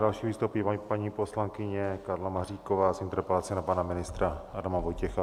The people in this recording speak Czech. Další vystoupí paní poslankyně Karla Maříková s interpelací na pana ministra Adama Vojtěcha.